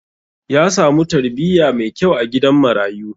Ya samu tarbiyya mai kyau a gidan marayu.